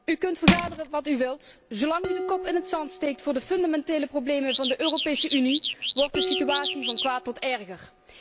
U kunt vergaderen wat u wilt, zolang u de kop in het zand steekt voor de fundamentele problemen van de Europese Unie wordt de situatie van kwaad tot erger.